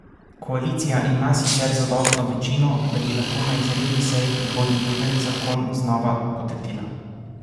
Koalicija ima sicer zadostno večino, da bi lahko na izredni seji prihodnji teden zakon znova potrdila.